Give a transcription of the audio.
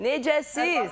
Necəsiz?